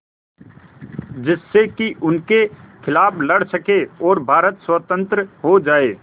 जिससे कि उनके खिलाफ़ लड़ सकें और भारत स्वतंत्र हो जाये